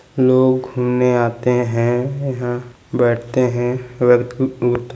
लोग घूमने आते हैं यहाँ बैठते हैं वर्क --